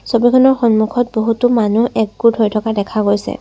ছবিখনৰ সন্মুখত বহুতো মানুহ একগোট হৈ থকা দেখা গৈছে।